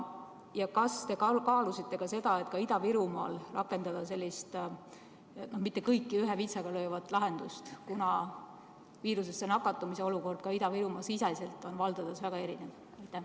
Ja kas te kaalusite ka seda, et rakendada Ida-Virumaal sellist mitte kõiki ühe vitsaga löövat lahendust, kuna viirusesse nakatumise olukord Ida-Virumaa-siseselt on valdades väga erinev?